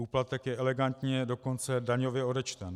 Úplatek je elegantně dokonce daňově odečten.